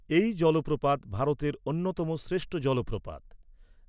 এই জলপ্রপাত ভারতের অন্যতম শ্রেষ্ঠ জলপ্রপাত।